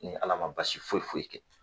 Ni ala ma basi foyi foyi kɛ